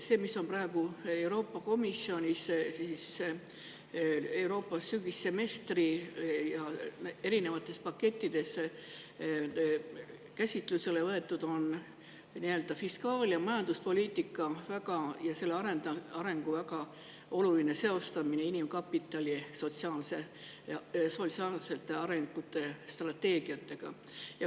See, mis on praegu Euroopa Komisjonis Euroopa sügissemestri erinevates pakettides käsitlusele võetud, on fiskaal- ja majanduspoliitika selle arengu väga oluline seostamine inimkapitali ehk sotsiaalse arengu strateegiatega.